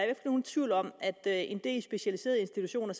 ikke nogen tvivl om at en del specialiserede institutioner